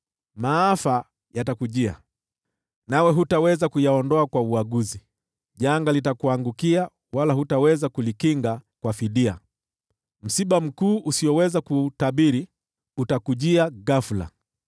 Maafa yatakujia, nawe hutaweza kuyaondoa kwa uaguzi. Janga litakuangukia, wala hutaweza kulikinga kwa fidia; msiba mkuu usioweza kuutabiri utakujia ghafula.